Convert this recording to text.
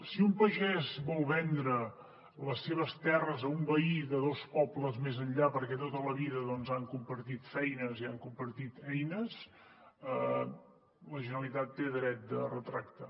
si un pagès vol vendre les seves terres a un veí de dos pobles més enllà perquè tota la vida han compartit feines i han compartit eines la generalitat té dret de retracte